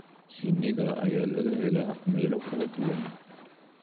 Shinnida ayaa laga helaa meelo kala duwan.